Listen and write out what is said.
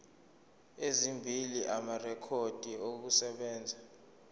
ezimbili amarekhodi okusebenza